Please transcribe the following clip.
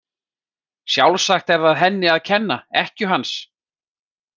Sjálfsagt er það henni að kenna, ekkju hans.